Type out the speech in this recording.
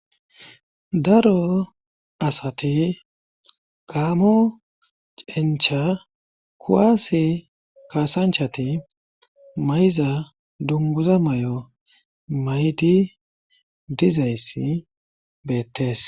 daro asati gaamo cencha kuwaasi kaasanchati mayza dunguza may7o maydi dizayssi beettes